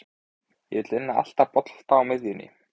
Ég vil vinna alla bolta á miðjunin.